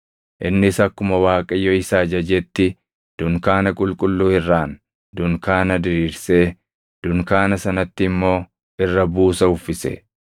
Innis akkuma Waaqayyo isa ajajetti dunkaana qulqulluu irraan dunkaana diriirsee dunkaana sanatti immoo irra buusa uffise.